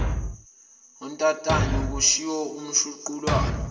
untantayo kushiwo umshuqulwana